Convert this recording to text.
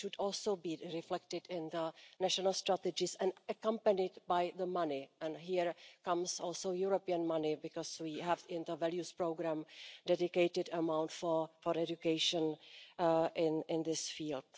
It should also be reflected in the national strategies and accompanied by money, and here comes also European money because we have in the values programme a dedicated amount for education in this field.